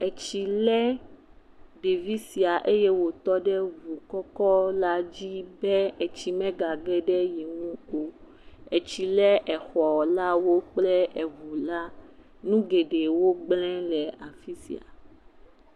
Etsi lé ɖevi sia eye wòtɔ ɖ ŋu kɔkɔla dzi be etsi megage ɖe ye ŋu o. Etsi lé exɔlawo kple eŋula. Nu geɖewo gblẽ le afi sia.